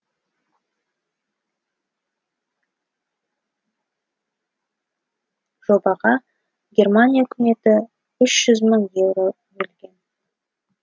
жобаға германия үкіметі үш жүз мың еуро бөлген